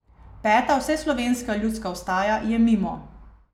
Peta vseslovenska ljudska vstaja je mimo.